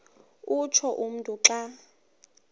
utsho umntu xa